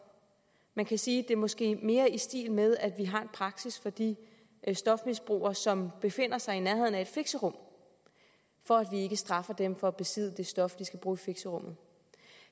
man kan sige at det måske mere er i stil med at vi har en praksis for de stofmisbrugere som befinder sig i nærheden af fixerum for at vi ikke straffer dem for at besidde det stof de skal bruge i fixerummet